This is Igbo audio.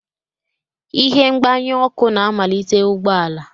Ihe mgbanye ọkụ na-amalite ụgbọ ala.